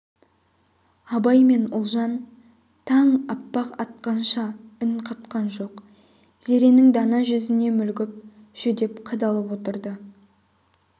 абай мен ұлжан таң аппақ атқанша үн қатқан жоқ зеренің дана жүзіне мүлгіп жүдеп қадалып отырды